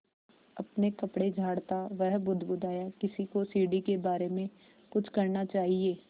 अपने कपड़े झाड़ता वह बुदबुदाया किसी को सीढ़ी के बारे में कुछ करना चाहिए